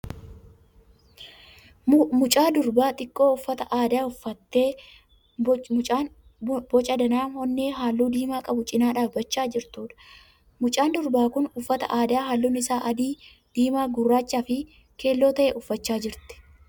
Mucaa durbaa xiqqoo uffata aadaa uffattee booca danaa onnee halluu diimaa qabu cina dhaabbachaa jirtuudha. Mucaan durbaa kun uffata aadaa halluun isaa adii, diimaa. gurraachaa fi keelloo ta'e uffachaa jirti.